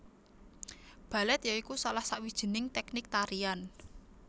Balèt ya iku salah sawijining tèknik tarian